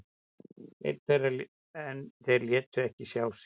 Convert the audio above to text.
En þeir létu ekki sjá sig.